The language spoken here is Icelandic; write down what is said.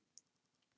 Sæll, Lárus minn.